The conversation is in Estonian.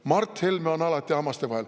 Mart Helme on alati hammaste vahel.